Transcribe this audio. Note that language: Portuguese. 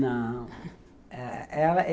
Não